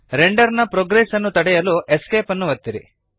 render ನ progress ಅನ್ನು ತಡೆಯಲು ESC ಅನ್ನು ಒತ್ತಿರಿ